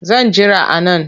Zan jira a nan